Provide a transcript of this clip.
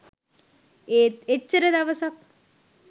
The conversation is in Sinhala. ඒත් එච්චර දවසක්